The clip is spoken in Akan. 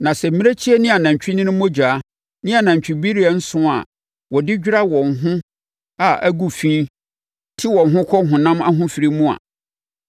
Na sɛ mmirekyie ne anantwinini mogya ne anantwibereɛ nsõ a wɔde dwira wɔn a wɔn ho agu fi te wɔn ho kɔ honam ahofirie mu a,